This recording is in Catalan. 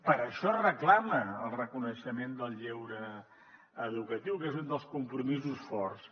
per això es reclama el reconeixement del lleure educatiu que és un dels compromisos forts